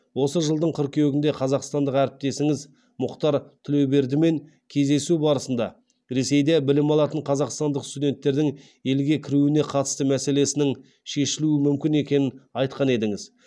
осы жылдың қыркүйегінде қазақстандық әріптесіңіз мұхтар тілеубердімен кездесу барысында ресейде білім алатын қазақстандық студенттердің елге кіруіне қатысты мәселесінің шешілуі мүмкін екенін айтқан едіңіз